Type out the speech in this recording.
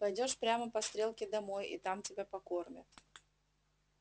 пойдёшь прямо по стрелке домой и тебя там покормят